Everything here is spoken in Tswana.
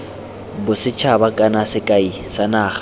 bosethaba kana sekai sa naga